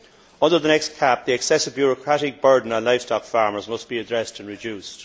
Under the next CAP, the excessive bureaucratic burden on livestock farmers must be addressed and reduced.